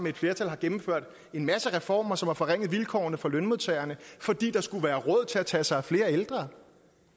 et flertal har gennemført en masse reformer som har forringet vilkårene for lønmodtagerne fordi der skulle være råd til at tage sig af flere ældre